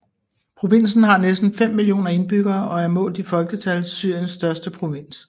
Provinsen har næsten fem millioner indbyggere og er målt i folketal Syriens største provins